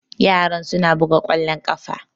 Yaran suna buga ƙwallon ƙafa